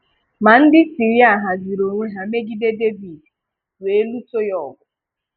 Ma ndị Siria haziri onwe ha megide Devid, wee luso ya ọgụ.